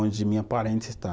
onde minha parente está.